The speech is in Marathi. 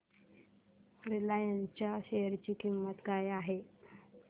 रिलायन्स च्या शेअर ची किंमत काय आहे